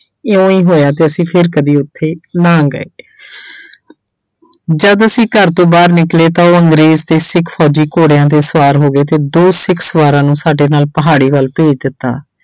ਇਉਂ ਹੀ ਹੋਇਆ ਤੇ ਅਸੀਂ ਫਿਰ ਕਦੇ ਉੱਥੇ ਨਾ ਗਏ ਜਦ ਅਸੀਂ ਘਰ ਤੋਂ ਬਾਹਰ ਨਿਕਲੇ ਤਾਂ ਉਹ ਅੰਗਰੇਜ਼ ਤੇ ਸਿੱਖ ਫ਼ੌਜ਼ੀ ਘੋੜਿਆਂ ਤੇ ਸਵਾਰ ਹੋ ਗਏ ਤੇ ਦੋ ਸਿੱਖ ਸਵਾਰਾਂ ਨੂੰ ਸਾਡੇ ਨਾਲ ਪਹਾੜੀ ਵੱਲ ਭੇਜ ਦਿੱਤਾ।